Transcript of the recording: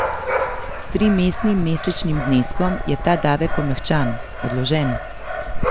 S trimestnim mesečnim zneskom je ta davek omehčan, odložen.